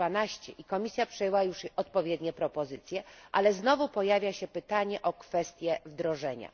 112. Komisja przyjęła już odpowiednie propozycje, ale znowu pojawia się pytanie o kwestię wdrożenia.